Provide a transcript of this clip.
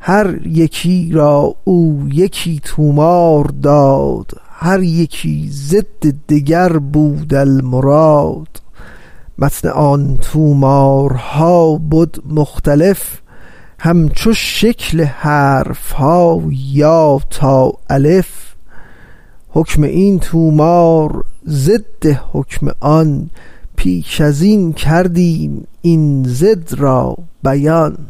هر یکی را او یکی طومار داد هر یکی ضد دگر بود المراد متن آن طومارها بد مختلف همچو شکل حرفها یا تا الف حکم این طومار ضد حکم آن پیش ازین کردیم این ضد را بیان